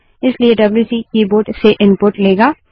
इसलिए WC keyboard से input लेगा